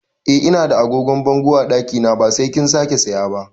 Eh Ina da agogon bango a ɗakina ba sai kin sake saya ba